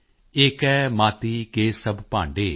ਏਕੈ ਮਾਤੀ ਕੇ ਸਭ ਭਾਂਡੇ